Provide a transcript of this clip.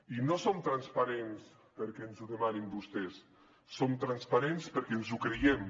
i no som transparents perquè ens ho demanin vostès som transparents perquè ens ho creiem